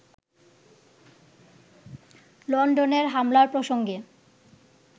লন্ডনের হামলার প্রসঙ্গে